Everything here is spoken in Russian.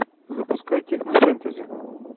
запускай технофэнтези